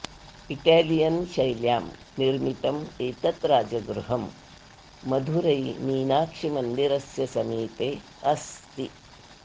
Italian शैल्यां निर्मितम् एतत् राजगृहं मधुरैमीनाक्षीमन्दिरस्य समीपे अस्ति